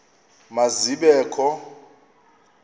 ma zibe kho